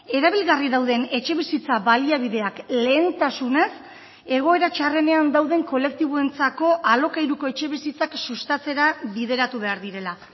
erabilgarri dauden etxebizitza baliabideak lehentasunez egoera txarrenean dauden kolektiboentzako alokairuko etxebizitzak sustatzera bideratu behar direla